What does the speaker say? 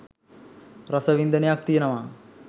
රස වින්දනයක් තියනවා.